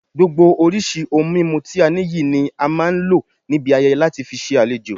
Gbogbo oríṣi ohun mímu ti a ní yìí ni a máa ń lo níbi ayẹyẹ láti fi ṣe àlejò